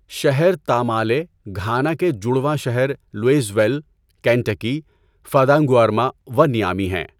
شہر Tamale, Ghana کے جڑواں شہر لوئیزویل، کینٹکی، فادا نگؤرما و نیامی ہیں۔